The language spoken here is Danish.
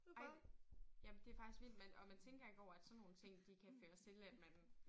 Ej jamen det faktisk vildt man og man tænker ikke over at sådan nogle ting de kan føre til at man